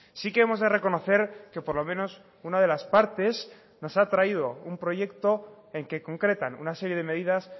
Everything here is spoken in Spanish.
sí que hemos de reconocer que por lo menos una de las partes nos ha traído un proyecto en que concretan una serie de medidas